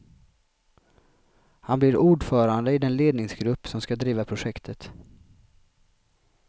Han blir ordförande i den ledningsgrupp som ska driva projektet.